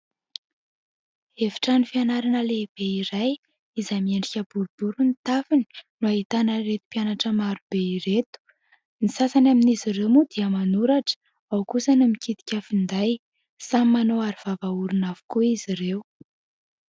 Efitrano fianarana lehibe iray, izay miendrika boribory ny tafony, no ahitana ireto mpianatra marobe ireto. Ny sasany amin'izy ireo moa dia manoratra, ao kosa ny mikitika finday, samy manao arovava-orona avokoa izy ireo.